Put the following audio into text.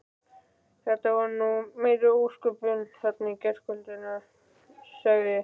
Þetta voru nú meiri ósköpin þarna í gærkvöldi sagði